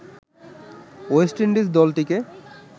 West Indies দলটিকে